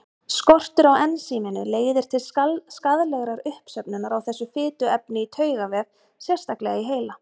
Skortur á ensíminu leiðir til skaðlegrar uppsöfnunar á þessu fituefni í taugavef, sérstaklega í heila.